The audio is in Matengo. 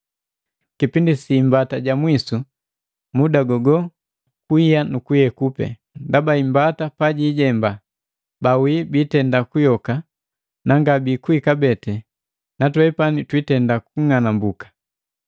kipindi sa talumbeta ja mwisu, muda gogo, kuiya nukuyeku pee. Ndaba imbata pajilela, bawii biitenda kuyoka na ngabikuwi kabee na twepani twitenda kung'anambuka.